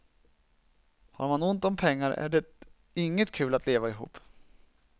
Har man ont om pengar är det inget kul att leva ihop.